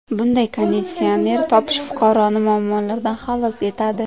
Bunday konditsioner topish fuqaroni muammolardan xalos etadi.